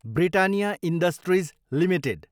Britannia Industries Ltd